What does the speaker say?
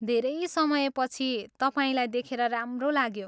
धेरै समयपछि तपाईँलाई देखेर राम्रो लाग्यो।